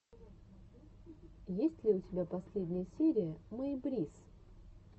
есть ли у тебя последняя серия мэй брисс